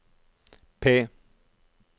P